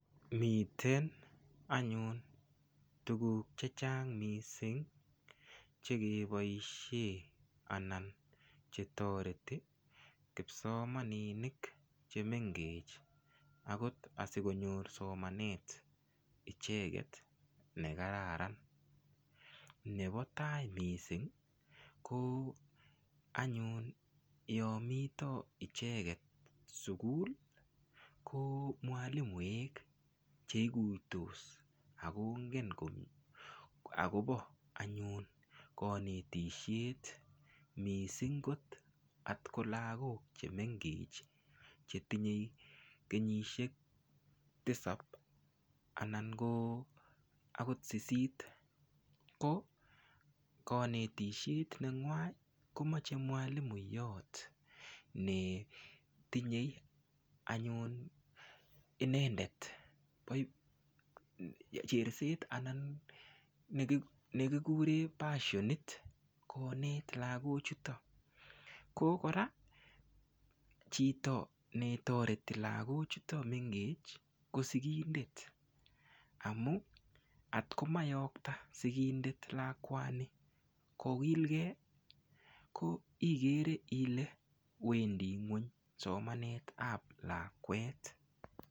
Miten anyun tukuk che chang mising chekeboishe anan chetoreti kipsomaninik chemengech akot asikonyor somanet icheket nekararan nebo tai mising ko anyun yo mito icheket sukul ko mwalimoek cheikuiytos akongen akopo anyun kanetishet mising kot atkolakok che mengech chetinyei kenyishek tisapu anan ko akot sisit ko konetishet nengwany komache mwalimuyot netinyei anyun inendet cherset anan nekikure passionit konet lakochuto ko kora chito netoreti lakochuto mengech ko sikindet amu atkomayokta sikindet lakwani kokilgei ko igere ile wendi ng'weny somanet ap lakwet.